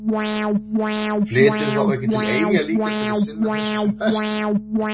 Flyturðu þá ekki til eyja líka til að sinna þessu sem best?